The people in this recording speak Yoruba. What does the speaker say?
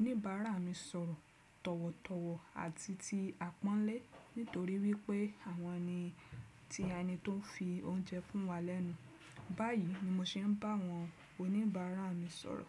oníbàárà mi sọ̀rọ̀ tọ̀wọ̀tọ̀wọ̀ àti ti àpọ́nlé nítorí wípé àwọn ni tí ẹni tó ń fi oúnjẹ fún wa lẹ́nu. Báyìí ni mo ṣe ń bá àwọn oníbàárà mi sọ̀rọ̀.